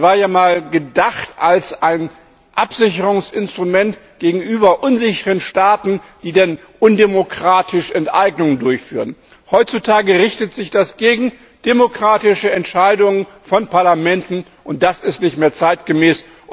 Es war ja mal gedacht als ein Absicherungsinstrument gegenüber unsicheren Staaten, die dann undemokratisch Enteignungen durchführen. Heutzutage richtet sich das gegen demokratische Entscheidungen von Parlamenten, und das ist nicht mehr zeitgemäß.